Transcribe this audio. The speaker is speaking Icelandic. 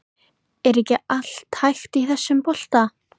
Er ekki allt hægt í þessum bolta?